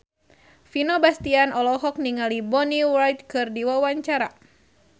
Vino Bastian olohok ningali Bonnie Wright keur diwawancara